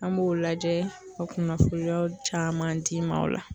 An m'o lajɛ ka kunnafoniyaw caman d'i ma o la